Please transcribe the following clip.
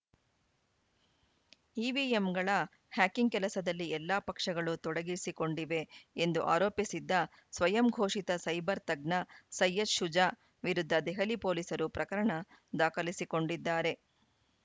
ಇವಿಎಂಗಳ hacking ಕೆಲಸದಲ್ಲಿ ಎಲ್ಲಾ ಪಕ್ಷಗಳೂ ತೊಡಗಿಸಿಕೊಂಡಿವೆ ಎಂದು ಆರೋಪಿಸಿದ್ದ ಸ್ವಯಂಘೋಷಿತ ಸೈಬರ್‌ ತಜ್ಞ ಸಯ್ಯದ್‌ ಶುಜಾ ವಿರುದ್ಧ ದೆಹಲಿ ಪೊಲೀಸರು ಪ್ರಕರಣ ದಾಖಲಿಸಿಕೊಂಡಿದ್ದಾರೆ